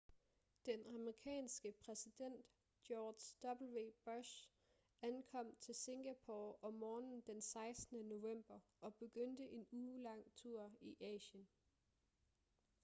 den amerikanske præsident george w bush ankom til singapore om morgenen den 16. november og begyndte en uge-lang tur i asien